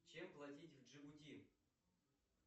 чем платить в джигути